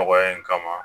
Dɔgɔya in kama